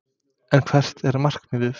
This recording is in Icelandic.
En hvert er markmiðið?